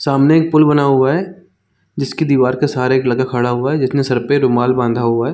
सामने एक पुल बना हुआ है जिसकी दिवार के सहारे एक लड़का खड़ा हुआ है जिसने सर पे रुमाल बाँधा हुआ है।